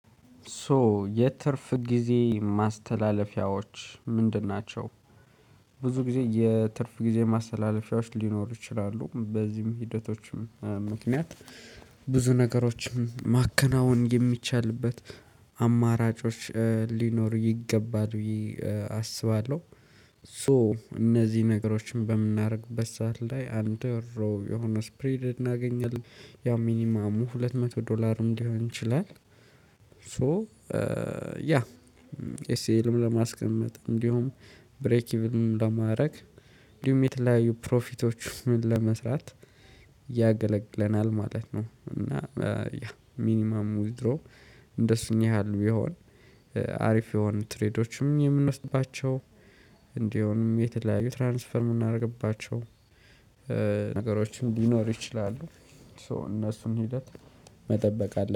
ሶ የትርፍ ጊዜ ማስተላለፊያዎች ምንድን ናቸው? ብዙ ጊዜ የትርፍ ጊዜ ማስተላለፊያዎች ሊኖሩ ይችላሉ በዚህም ሂደቶችም ምክንያት ብዙ ነገሮችም ማከናወን የሚቻልበት አማራጮች ሊኖር ይገባል ብየ አስባለሁ። ሶ እነዚህ ነገሮችን በምናደርግበት ሰዓት ላይ አንድ የሆነ ስፕሪድ እናገኛለን ያ ሚኒመሙ ሁለት መቶ ዶላርም ሊሆን ይችላል። ሶ ያ ኤስኤልም ለማስቀመጥ እንዲሁም ብሬኪልም ለማድረግ እንዲሁም የተለያዩ ፕሮፊቶችን ለመስራት ያገለግለናል ማለት ነው። እና ያ ሚኒማም ውዝድሮ እንደሱ ያህል ቢሆን አሪፍ የሆኑ ትሬዶችም የምንወስድባቸው እንዲሁም የተለያዩ ትራንስፈር የምናደርግባቸው ነገሮችን ሊኖር ይችላሉ። ሶ እነሱን ሂደት መጠበቅ አለ